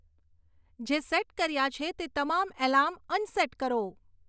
જે સેટ કર્યાં છે તે તમામ એલાર્મ અનસેટ કરો